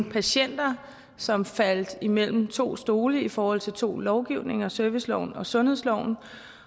patienter som faldt mellem to stole i forhold til to lovgivninger serviceloven og sundhedsloven